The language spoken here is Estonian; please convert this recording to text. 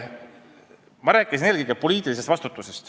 Ma rääkisin eelkõige poliitilisest vastutusest.